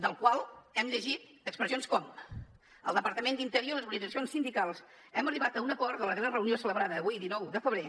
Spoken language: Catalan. del qual hem llegit expressions com el departament d’interior i les organitzacions sindicals hem arribat a un acord en la darrera reunió celebrada avui dinou de febrer